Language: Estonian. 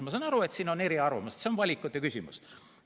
Ma saan aru, et siin on eri arvamused, see on valikute küsimus.